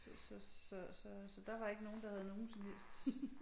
Så så så så så der var ikke nogen der havde nogen som helst